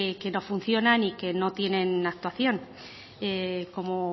que no funcionan y que no tienen actuación como